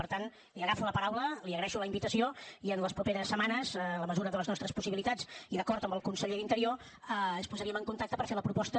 per tant li agafo la paraula li agraeixo la invitació i en les properes setmanes en la mesura de les nostres possibilitats i d’acord amb el conseller d’interior ens posaríem en contacte per fer la proposta